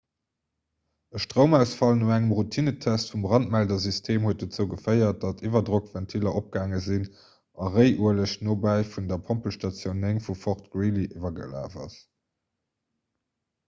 e stroumausfall no engem routinentest vum brandmeldersystem huet dozou geféiert datt d'iwwerdrockventiller opgaange sinn a réiueleg nobäi vun der pompelstatioun 9 vu fort greely iwwergelaf ass